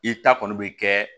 I ta kɔni bɛ kɛ